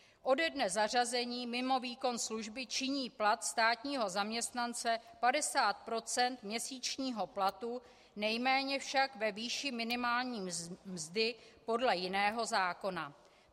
Ode dne zařazení mimo výkon služby činí plat státního zaměstnance 50 % měsíčního platu, nejméně však ve výši minimální mzdy podle jiného zákona.